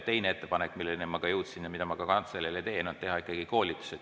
Teine ettepanek, milleni ma jõudsin ja mida ma ka kantseleile teen, on teha ikkagi koolitus.